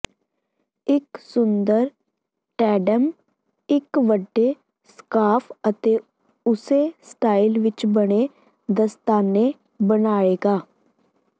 ਇਕ ਸੁੰਦਰ ਟੈਂਡੇਮ ਇਕ ਵੱਡੇ ਸਕਾਰਫ਼ ਅਤੇ ਉਸੇ ਸਟਾਈਲ ਵਿਚ ਬਣੇ ਦਸਤਾਨੇ ਬਣਾਏਗਾ